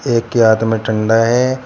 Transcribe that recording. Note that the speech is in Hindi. एक के हाथ में डंडा है।